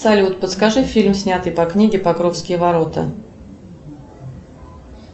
салют подскажи фильм снятый по книге покровские ворота